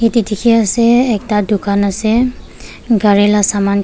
yati dikhi ase ekta dukan ase gari la saman kh--